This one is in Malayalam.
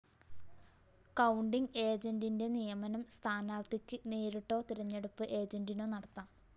കൌണ്ടിംഗ്‌ ഏജന്റിന്റെ നിയമനം സ്ഥാനാര്‍ഥിക്ക്‌ നേരിട്ടോ തിരഞ്ഞെടുപ്പ്‌ ഏജന്റിനോ നടത്താം